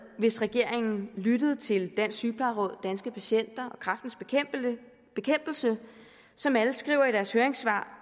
hvis regeringen lyttede til dansk sygeplejeråd danske patienter og kræftens bekæmpelse som alle skriver i deres høringssvar